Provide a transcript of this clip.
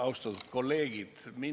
Austatud kolleegid!